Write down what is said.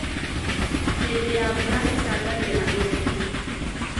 Hĩndĩ ya mbura ĩcangagĩra ũrĩmi.